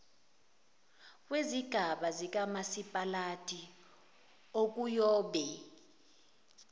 kwezigaba zikamasipalati okuyobe